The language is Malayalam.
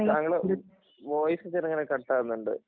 താങ്കളുടെ വോയിസ് ചിറുങ്ങനെ കട്ടാകുന്നുണ്ട്